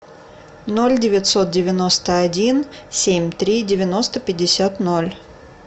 ноль девятьсот девяносто один семь три девяносто пятьдесят ноль